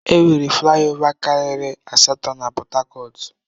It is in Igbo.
Enwere flai ova karịrị asatọ na Pọt hakọt.